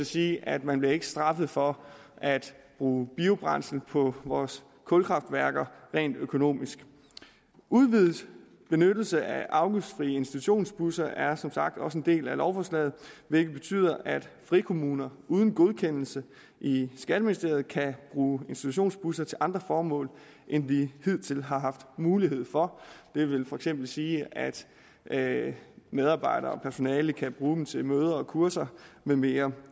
sige at man ikke bliver straffet for at bruge biobrændsel på vores kulkraftværker rent økonomisk udvidet benyttelse af afgiftsfrie institutionsbusser er som sagt også en del af lovforslaget hvilket betyder at frikommuner uden godkendelse i skatteministeriet kan bruge institutionsbusser til andre formål end de hidtil har haft mulighed for det vil for eksempel sige at medarbejdere og personale kan bruge dem til møder og kurser med mere